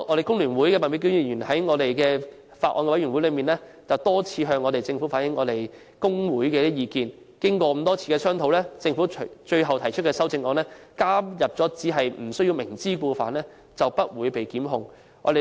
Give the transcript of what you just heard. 工聯會麥美娟議員在法案委員會中，曾多次向政府反映工會的意見，經過多次商討，政府最後提出修正案，加入只要不是"明知故犯"，便不會被檢控。